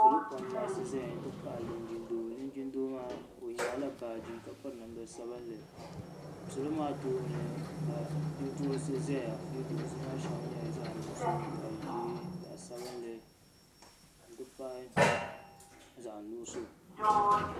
Niriba pam n laɣisi zaya nti pahi linjin doo linjin doo maa o nyaɣi la baaji ka piri namda sabinli salo maa tooni ka yiɛduhirisi zaya yiɛduhirisi maa maa shɛli nyɛla zaɣi nuɣiso zaɣi zɛɛ zaɣi sabinli nti pahi zaɣi nuɣiso.